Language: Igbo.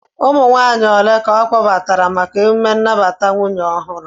Ụmụ nwaanyị ole ka ọ kpọbatara maka emjme nnabata nwunye ọhụrụ?